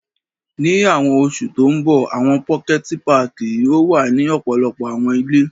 Ni awọn oṣu to nbọ, awọn pokẹti pààki yoo wa ni ọpọlọpọ awọn ile.